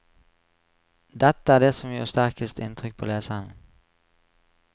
Dette er det som gjør sterkest inntrykk på leseren.